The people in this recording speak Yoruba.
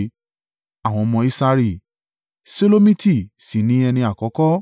Àwọn ọmọ Isari: Ṣelomiti sì ni ẹni àkọ́kọ́.